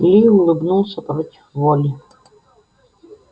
ли улыбнулся против воли